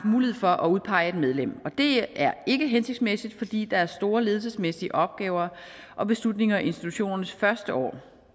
mulighed for at udpege et medlem det er ikke hensigtsmæssigt fordi der er store ledelsesmæssige opgaver og beslutninger i institutionernes første år